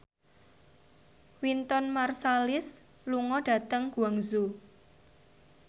Wynton Marsalis lunga dhateng Guangzhou